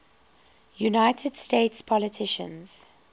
united states politicians